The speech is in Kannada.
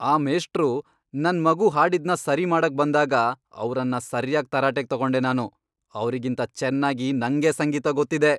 ಆ ಮೇಷ್ಟ್ರು ನನ್ ಮಗು ಹಾಡಿದ್ನ ಸರಿ ಮಾಡಕ್ ಬಂದಾಗ ಅವ್ರನ್ನ ಸರ್ಯಾಗ್ ತರಾಟೆಗ್ ತಗೊಂಡೆ ನಾನು, ಅವ್ರಿಗಿಂತ ಚೆನ್ನಾಗಿ ನಂಗೇ ಸಂಗೀತ ಗೊತ್ತಿದೆ.